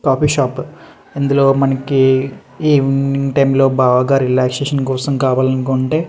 coffee shop ఇందులో మనకి evening time లో బాగా రిలాక్సేషన్ కోసం కావాలి అనుకుంటే --